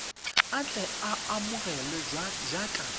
a tle a amogelwe jaaka